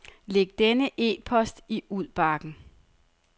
Læg denne e-post i udbakken.